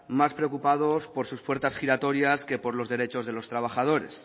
más preocupados por sus puertas giratorias que por lo derechos de los trabajadores